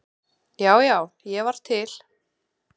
Já, já, ég var til.